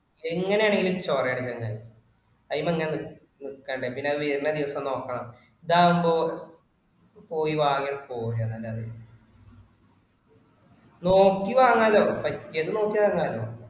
എങ്ങിനെ ആണെങ്കിലും ചോറെ ആണ് ചെങ്ങായി. അയിൻമെയ്‌ൻ അങ്ങിനെ നിൽക്കണ്ട പിന്നെ അത് വരുന്ന ദിവസം നോക്കണം. ഇതാവുമ്പോ പോയി വാങ്ങാൻ . നോക്കി വാങ്ങാലോ, പറ്റിയത് നോക്കി വാങ്ങാലോ.